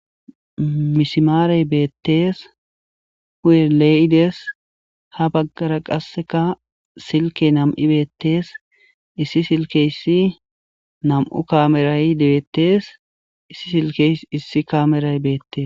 misimaarey beettees hu7elee7ides ha baggara qasseka silke nam7i beettees issi silkeyssi nam7u kameray dibettees issi silkeys issi kaameray beettes